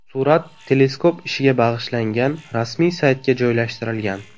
Surat teleskop ishiga bag‘ishlangan rasmiy saytga joylashtirilgan .